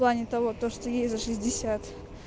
в плане того то что ей за шестьдесят